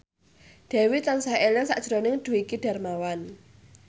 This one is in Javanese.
Dewi tansah eling sakjroning Dwiki Darmawan